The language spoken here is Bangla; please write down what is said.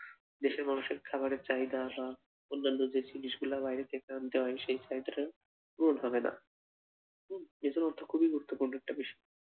দেশের মানুষের খাবার এর চাহিদা বা অন্নান্য যে জিনিস গুলা বাহিরে থেকে আনতে হয় সেই চাহিদাটা পূরণ হবে না উহ এই জন্য অর্থ খুবই গুরুত্বপূর্ণ একটা বিষয়,